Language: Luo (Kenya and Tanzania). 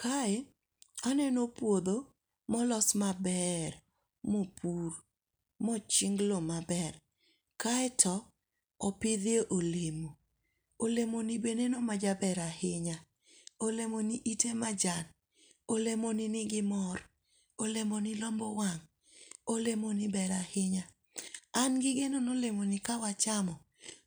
Kae aneno puotho molos maber mopur moching' lowo maber, kaeto opithe olemo, olemoni be neno majaber ahinya, olemoni ite majan , olemoni nigi mor, olemoni lombo wang' olemoni ber ahinya , an gi geno ni olemoni kawa chamo